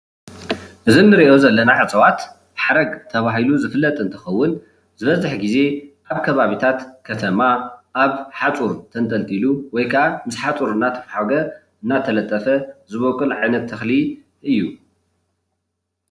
እዚ ንርእዮ ዘለና እፅዋት ሓረግ ተባሂሉ ዝፍለጥ እንትኸውን ዝበዝሕ ግዜ ኣብ ከባቢታት ከተማ ኣብ ሓፁር ተንጠልጢሉ ወይ ካዓ ምስ ሓፁር እናተፋሓገ ወይ እናተለጠፈ ዝቦቁል ዓይነት ተኽሊ እዩ